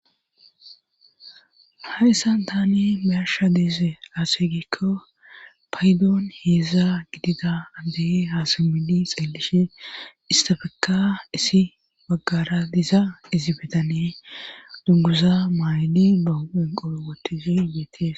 Hayssan tani myarsha deese aaseygikko paydoon heeza gidida andehe haasamidi xeellishe istafeka isi baggara diza isi betane duggusa maaydi ba huphen qoo watihi geeties.